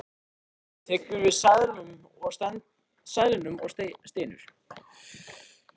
Edda tekur við seðlunum og stynur.